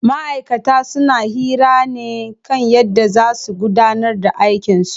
Ma'aikata suna hira ne kan yadda zaa su gudanar da aikin su.